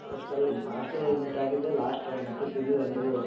Hostel ಅಲ್ಲಿ meet ಆಗಿದ್ದೆ last ಮತ್ತೆ ಸಿಗ್ಲಿಲ್ಲ ನೀವು.